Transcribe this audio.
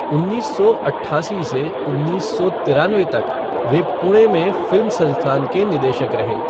उन्नीस सौ अट्ठासी से उन्नीस सौ तिरानवे तक वे पुणे में फ़िल्म संस्थान के निदेशक रहे।